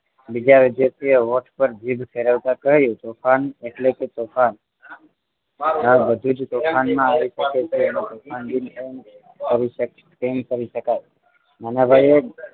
બીજા વિદ્યાર્થીઓએ હોટ પર જીભ ફેરવતા કહ્યું તોફાન એટલે કે તોફાન આ બધું જ તોફાનમાં આવી શકે તેમ કહી શકાય નાના ભાઈએ